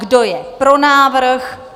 Kdo je pro návrh?